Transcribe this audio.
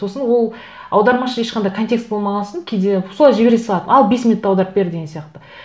сосын ол аудармашы ешқандай контекст болмаған сон кейде солай жібере салады ал бес минутта аударып бер деген сияқты